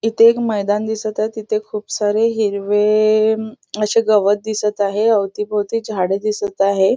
इथे एक मैदान दिसत आहे तिथ खूप सारे हिरवे असे गवत दिसत आहे अवतीभोवती झाडे दिसत आहे.